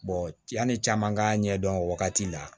yanni caman k'a ɲɛdɔn o wagati la